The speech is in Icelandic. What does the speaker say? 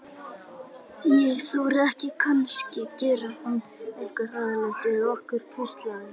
Ég þori ekki, kannski gerir hann eitthvað hræðilegt við okkur. hvíslaði